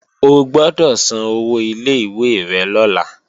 O gbọ́dọ̀ san owó ilé ìwé rẹ lọ́la